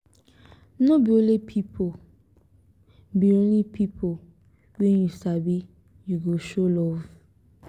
no be only pipu be only pipu wey you sabi you go show love.